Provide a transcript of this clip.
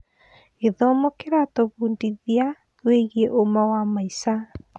Gĩthomo kĩratũbundithia wĩgiĩ ũma wa maica.